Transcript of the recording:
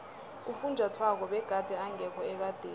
ufunjathwako begade engekho ekadeni